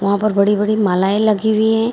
वहाँ पर बड़ी-बड़ी मालाएं लगी हुई हैं --